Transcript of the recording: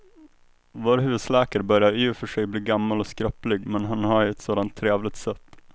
Vår husläkare börjar i och för sig bli gammal och skröplig, men han har ju ett sådant trevligt sätt!